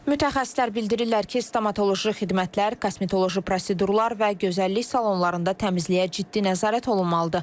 Mütəxəssislər bildirirlər ki, stomatoloji xidmətlər, kosmetoloji prosedurlar və gözəllik salonlarında təmizliyə ciddi nəzarət olunmalıdır.